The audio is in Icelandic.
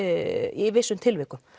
í vissum tilvikum